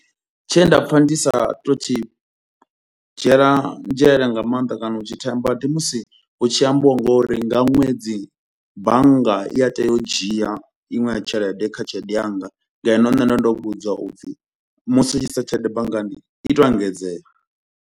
Tshe nda pfha ndi sa tou thi dzhiela nzhele nga mannḓa kana u tshi themba ndi musi hu tshi ambiwa ngouri nga ṅwedzi bannga i a tea u dzhia iṅwe ya tshelede kha tshelede yanga, ngeno nne ndo ndo vhudzwa upfhi musi u tshi isa tshelede banngani i tou engedzea.